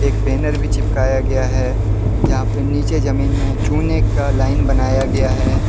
Banner भी चिपकाए गया है जहां पे नीचे जमीन में चूने का लाइन बनाया गया है।